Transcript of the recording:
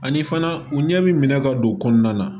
Ani fana u ɲɛ bɛ minɛ ka don o kɔnɔna na